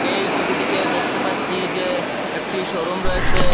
এই ছবিটিতে দেখতে পাচ্ছি যে একটি শোরুম রয়েছে।